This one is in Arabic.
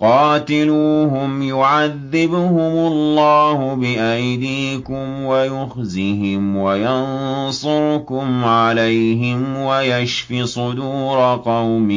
قَاتِلُوهُمْ يُعَذِّبْهُمُ اللَّهُ بِأَيْدِيكُمْ وَيُخْزِهِمْ وَيَنصُرْكُمْ عَلَيْهِمْ وَيَشْفِ صُدُورَ قَوْمٍ